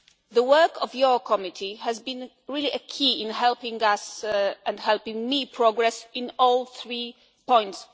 rules. The work of your committee has been really key in helping us and helping me progress on all three